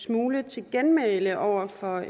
smule til genmæle over for